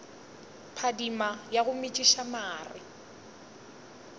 phadima wa go metšiša mare